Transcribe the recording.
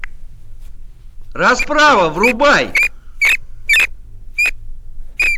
расправа врубай